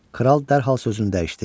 Kral dərhal sözünü dəyişdi.